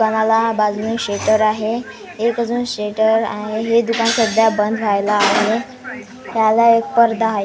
दुकाणाला बाजूल शेटर आहे एक अजून शेटर आहे हे दुकान सध्या बंद व्हायला आहे ह्याला एक पर्दा--